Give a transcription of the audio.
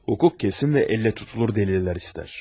Hukuk kəsin və əllə tutulur dəlillər istər.